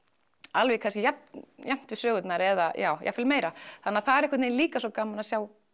alveg kannski jafnt jafnt við sögurnar eða jafnvel meira það er líka svo gaman að sjá